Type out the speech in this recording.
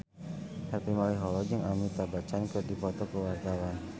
Harvey Malaiholo jeung Amitabh Bachchan keur dipoto ku wartawan